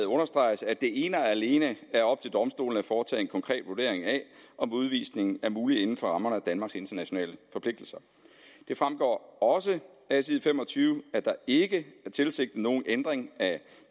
understreges at det ene og alene er op til domstolene at foretage en konkret vurdering af om udvisning er mulig inden for rammerne af danmarks internationale forpligtelser det fremgår også af side fem og tyve at der ikke er tilsigtet nogen ændring af